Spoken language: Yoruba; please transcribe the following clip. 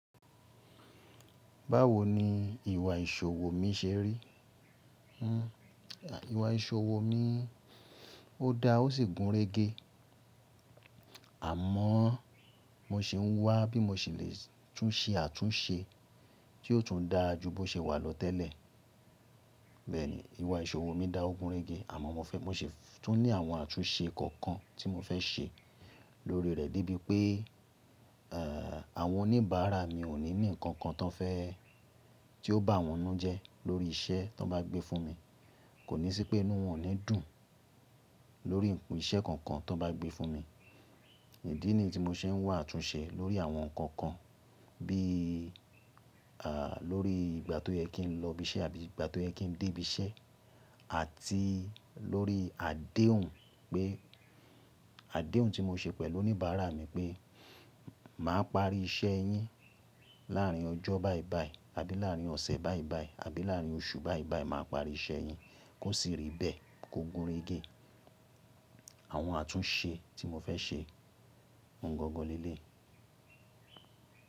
Báwo ni ìwà ìṣòwò mi ṣe rí? Hmm, ìwà ìṣòwò mi ó da ó sì gúnrégé. Àmọ́ mo ṣi ń wá bí mo ṣe lè tún ṣe àtúnṣe tí ó tún dáa jù bó ṣe wà lọ tẹ́lẹ̀. Bẹ́ẹ̀ni, ìwà ìṣòwò mi dá ó gúnrégé àmọ́ mo ṣe tún ní àwọn àtúnṣe kan kan tí mo fẹ́ ṣe lórí rẹ̀ de bíi pé, ẹ́ àwọn oníbàárà mi ò ní ní nǹkan kan tan fe, tí ó bá wọn nú jẹ lórí iṣẹ́ tí wọ́n bá gbé fún mi. Kò ní sí pé inú wọn oni dùn lórí iṣẹ́ kankan tọ́n bá gbé fún mi. Ìdí nìyi tí mo ṣe ń wà túnṣe lórí àwọn nǹkan kan bí i lórí ìgbà tó yẹ kí n lọ ibi iṣẹ́ àbí ìgbà tó yẹ kí n dé ibi iṣẹ́ àti lórí àdéhùn pe, adehun tí mo ṣe pẹ̀lú oníbàárà mi pé màá parí iṣẹ́ yín láàárín ọjọ́ báìbái àbí láàárín ọ̀sẹ̀ báìbái àbí láàárín oṣù báìbái màá parí iṣẹ́ yín kó sì rí bẹ́ẹ̀ kó gúnrégé. Àwọn àtúnṣe tí mo fẹ́ ṣe oun gangan leleyi.